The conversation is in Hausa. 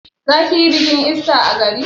Za ki yi bikin ista a gari.